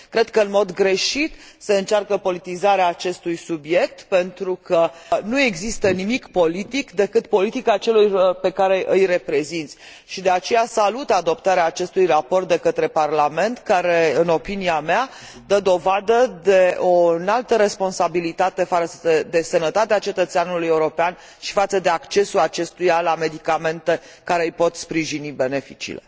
Cred că în mod greșit se încearcă politizarea acestui subiect, pentru că nu există nimic politic, decât politica celor pe care îi reprezinți, și de aceea salut adoptarea acestui raport de către Parlament, care, în opinia mea, dă dovadă de o înaltă responsabilitate față de sănătatea cetățeanului european și față de accesul acestuia la medicamente care îi pot sprijini beneficiile.